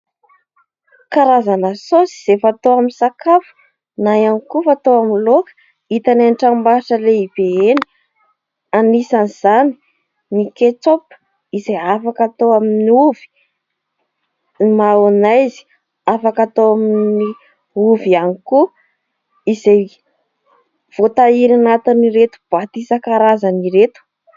Karazana saosy izay fatao amin'ny sakafo na ihany koa fatao amin'ny laoka hita eny amin'ny tranombarotra lehibe eny. Anisan'izany ny "ketchup" izay afaka atao amin'ny ovy, ny "mayonnaise" afaka atao amin'ny ovy ihany koa, izay voatahiry ao anatin'ireto boaty isan-karazany ireto.